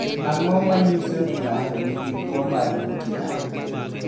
Ang’o ma nyiso ni ng’ato nigi tuwo mar ng’ut ng’ato?